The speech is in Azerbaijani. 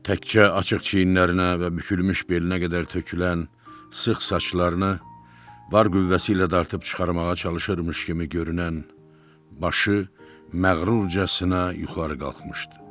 Təkcə açıq çiyinlərinə və bükülmüş belinə qədər tökülən sıx saçlarını var qüvvəsi ilə dartıb çıxarmağa çalışırmış kimi görünən başı məğrurcasına yuxarı qalxmışdı.